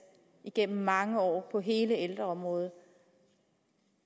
igennem mange år på hele ældreområdet